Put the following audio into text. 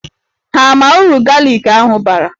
Ha ama uru galik ahụ bara?